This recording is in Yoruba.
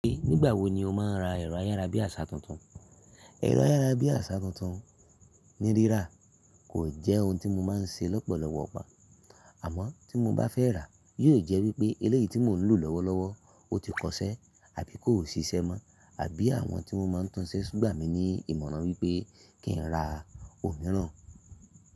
Ṣe nígbà wo ni o máa ń ra ẹ̀rọ ayárabíàṣá tuntun? Ẹ̀rọ ayárabíàṣá tuntun nírírà kò jẹ́ ohun tí mo máa ń ṣe lọ́pọ̀lọpọ̀ igbá. Àmọ́, tí mo bá fẹ́ ràá, yóò jẹ́ wípé eléyìí tí mò ń lò lọ́wọ́lọ́wọ́ ó ti kọ ṣẹ́ àbí kò ṣiṣẹ́ mọ́, àbí àwọn tí mo máa ń tunṣẹ́ gbà mí ní ìmọ̀ràn wípé kí ń ra òmíràn.